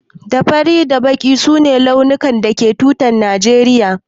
Da fari da kore su ne launukan da ke jikin tutar najeriya.